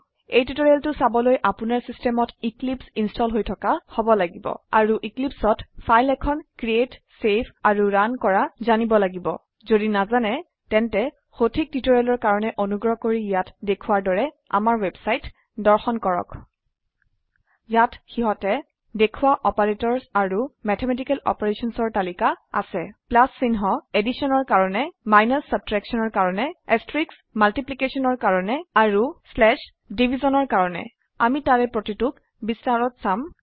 এই টিউটৰিয়েলটো চাবলৈ আপোনাৰ চিচটেমত এক্লিপছে ইনস্টল হৈ থকা হব লাগিব আৰু Eclipseঅত ফাইল এখন ক্ৰিএট চেভ আৰু ৰুণ কৰা জানিব লাগিব যদি নাজানে তেন্তে সঠিক টিউটৰিয়েলৰ কাৰনে অনুগ্ৰহ কৰি ইয়াত দেখোৱাৰ দৰে আমাৰ ৱেবছাইট দৰ্শন কৰক ইয়াত সিহতে দেখোৱা অপাৰেটৰ্ছ আৰু মেথমেটিকেল অপাৰেশ্যনছ ৰ তালিকা আছে প্লাছ চিহ্ন এডিশ্যন ৰ কাৰনে মাইনাচ subtractionৰ কাৰনে এস্ত্ৰীক্চ multiplicationৰ কাৰনে আৰু স্লেছ divisionৰ কাৰনে আমি তাৰে প্ৰতিটোক বিস্তাৰত চাম